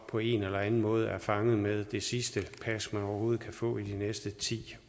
på en eller anden måde fanget med det sidste pas man overhovedet kan få i de næste ti